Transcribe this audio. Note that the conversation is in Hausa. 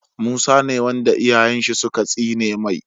Musa ne wanda iyayen shi suka tsine mai